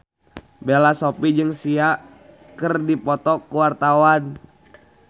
Bella Shofie jeung Sia keur dipoto ku wartawan